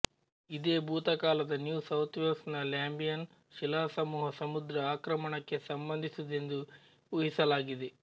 ಇದೇ ಭೂಕಾಲದ New South Wales ನ ಲ್ಯಾಂಬಿಯನ್ ಶಿಲಾಸಮೂಹ ಸಮುದ್ರ ಆಕ್ರಮಣಕ್ಕೆ ಸಂಬಂಧಿಸಿದುದೆಂದು ಊಹಿಸಲಾಗಿದೆ